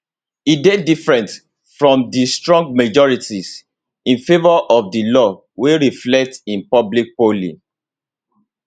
e dey different from di strong majorities in favour of di law wey reflect in public polling